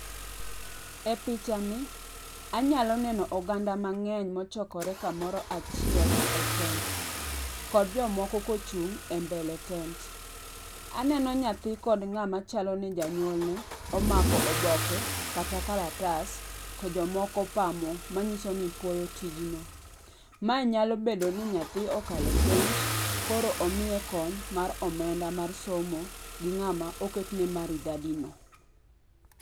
E pichani anyalo neno oganda mang'eny mochokore kamoro achiel e tent, kod jomoko kochung' e mbele tent. Aneno nyathi kod ng'amachalo ni janyuolne omako oboke kata kalatas to jomoko pamo, manyiso ni puoyo tijno. Mae nyalo bedo ni nyathi okalo penj koro omiye kony mara omenda mar somo gi ng'ama oketne maridadino.